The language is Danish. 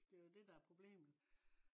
det er jo det der er problemet